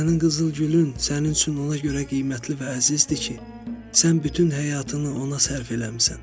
Sənin qızıl gülün sənin üçün ona görə qiymətli və əzizdir ki, sən bütün həyatını ona sərf eləmisən.